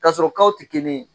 Kasɔrɔ tɛ kelen ye